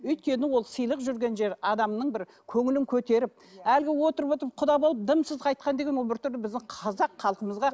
өйткені ол сыйлық жүрген жер адамның бір көңілін көтеріп әлгі отырып отырып құда болып дымсыз қайтқан деген ол бір түрлі біздің қазақ халқымызға